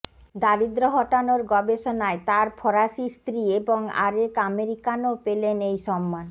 দারিদ্র্য হটানোর গবেষণায় তাঁর ফরাসি স্ত্রী এবং আরেক আমেরিকানও পেলেন এই সম্মান